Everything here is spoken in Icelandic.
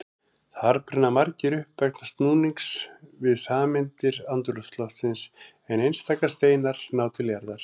Þar brenna margir upp vegna núnings við sameindir andrúmsloftsins en einstaka steinar ná til jarðar.